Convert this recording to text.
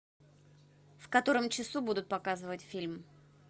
в котором часу будут показывать фильм